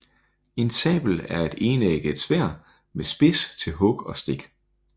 En sabel er et enægget sværd med spids til hug og stik